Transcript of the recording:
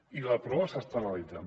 i la prova s’està analitzant